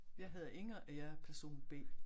Jeg hedder Inger og jeg er person B